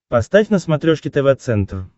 поставь на смотрешке тв центр